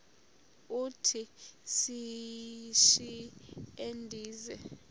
uthi yishi endiza